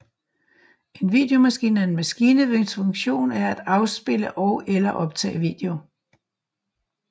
En videomaskine er en maskine hvis funktion er at afspille og eller optage video